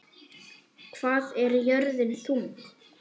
Hvað er jörðin þung?